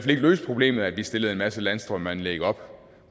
ikke løse problemet at vi stillede en masse landstrømsanlæg op